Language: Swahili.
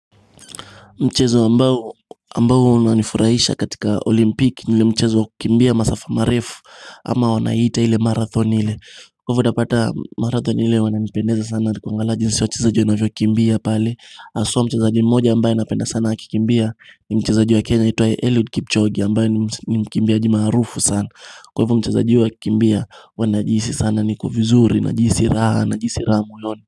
Mchezo ambao ambao unanifurahisha katika olimpiki ni ule mchezo wa kukimbia masafa marefu ama wanaiita ile marathon ile Kwa hivyo utapata marathon ile wananipendeza sana ni kuangalia jinsi wachezaji wanavyokukimbia pale haswa mchezaji mmoja ambaye napenda sana akikimbia ni mchezaji wa kenya anaitwa eliud kipchoge ambaye ni mkimbiaji maarufu sana Kwa hivyo mchezaji huyu akikimbia huwa najihisi sana niko vizuri najisi raha najisi raha moyoni.